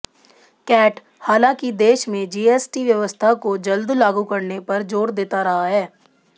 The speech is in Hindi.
कैट हालांकि देश में जीएसटी व्यवस्था को जल्द लागू करने पर जोर देता रहा है